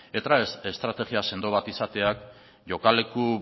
eta estrategia sendo bat izateak jokaleku